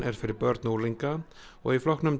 er fyrir börn og unglinga og í flokknum